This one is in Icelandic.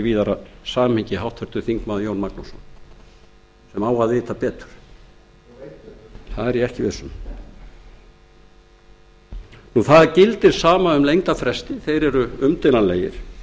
víðara samhengi háttvirtur þingmaður jón magnússon sem á að vita betur það er ég ekki viss um það gildir sama um lengdarfresti þeir eru umdeilanlegir